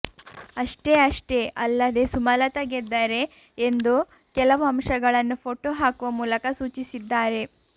ಅಷ್ಟೇ ಅಷ್ಟೇ ಅಲ್ಲದೇ ಸುಮಲತಾ ಗೆದ್ದರೆ ಎಂದು ಕೆಲವು ಅಂಶಗಳನ್ನು ಫೋಟೋ ಹಾಕುವ ಮೂಲಕ ಸೂಚಿಸಿದ್ದಾರೆ